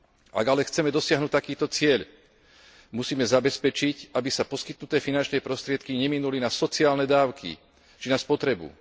Ak ale chceme dosiahnuť takýto cieľ, musíme zabezpečiť, aby sa poskytnuté finančné prostriedky neminuli na sociálne dávky či na spotrebu.